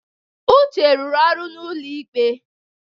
Uche rụrụ ọrụ n'ụlọ ikpe.